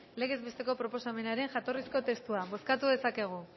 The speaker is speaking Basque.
legez besteko proposamenaren jatorrizko testua bozkatu dezakegu